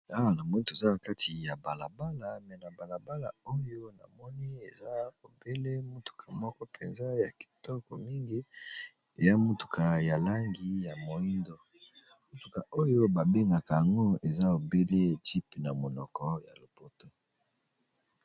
Awa namoni toza na kati ya bala bala, me na bala bala oyo na moni eza obele motuka moko mpenza ya kitoko mingi eya motuka ya langi ya moyindo motuka oyo ba bengaka yango eza obele jeep na monoko ya lopoto.